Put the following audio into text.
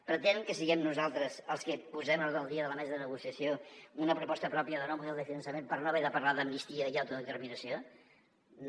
pretenen que siguem nosaltres els que posem a l’ordre del dia de la mesa de negociació una pro·posta pròpia de nou model de finançament per no haver de parlar d’amnistia i auto·determinació no